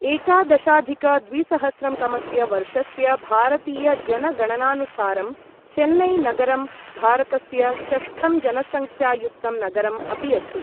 एकादशाधिक द्विसहस्रं तमस्य वर्षस्य भारतीयजनगणनानुसारं चेन्नई नगरं भारतस्य षष्ठं जनसंख्यायुक्तं नगरम् अपि अस्ति ।